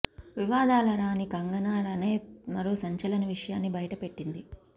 వివాదాల రాణి కంగనా రనౌత్ మరో సంచలన విషయాన్ని బయట పెట్టింది